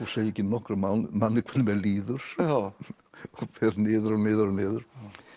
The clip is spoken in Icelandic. segi ekki nokkrum manni hvernig mér líður og fer niður og niður og niður